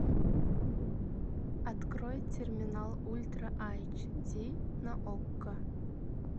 открой терминал ультра айч ди на окко